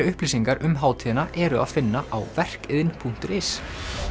upplýsingar um hátíðina er að finna á verkidn punktur is